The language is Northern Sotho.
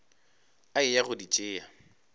a eya go di tšea